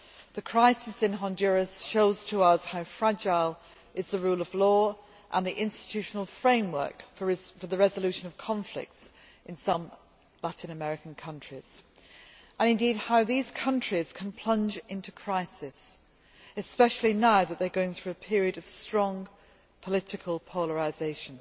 The crisis in Honduras shows us how fragile is the rule of law and the institutional framework for the resolution of conflicts in some Latin American countries and, indeed, how these countries can plunge into crisis, especially now that they are going through a period of strong political polarisation.